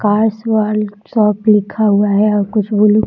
cars world shop लिखा हुआ है और कुछ भी लिख --